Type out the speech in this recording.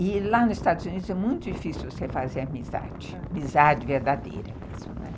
E lá nos Estados Unidos é muito difícil você fazer amizade, amizade verdadeira mesmo, né?